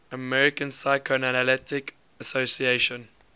american psychoanalytic association